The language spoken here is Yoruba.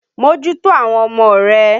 Mójútó àwọn ọmọ rẹ!